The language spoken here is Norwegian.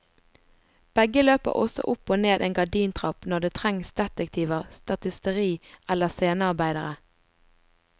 Begge løper også opp og ned en gardintrapp når det trengs detektiver, statisteri eller scenearbeidere.